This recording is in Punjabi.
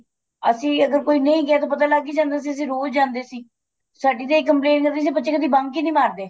ਅਸੀਂ ਅਗਰ ਕੋਈ ਨਹੀਂ ਗਿਆ ਤੇ ਪਤਾ ਲੱਗ ਈ ਜਾਂਦਾ ਸੀ ਅਸੀਂ ਰੋਜ ਜਾਂਦੇ ਸੀ ਸਾਡੀ ਇਹ complaint ਰਹਿੰਦੀ ਸੀ ਬੱਚੇ ਕਦੀ bunk ਈ ਨਹੀਂ ਮਾਰਦੇ